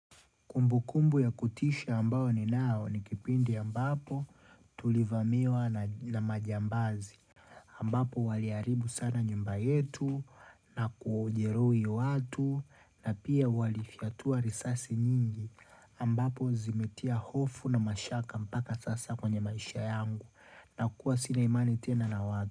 Kumbu kumbu ya kutisha ambao ni nao ni kipindi ambapo tulivamiwa na majambazi. Ambapo waliharibu sana nyumba yetu na kujeruhi watu na pia walifyatua risasi nyingi. Ambapo zimetia hofu na mashaka mpaka sasa kwenye maisha yangu na kuwa sina imani tena na watu.